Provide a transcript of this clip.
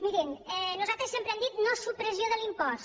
mirin nosaltres sempre hem dit nosupressió de l’impost